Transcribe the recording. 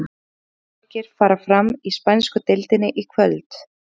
Fimm leikir fara fram í spænsku deildinni í kvöld.